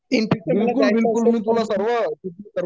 in between मला जायच असेल तर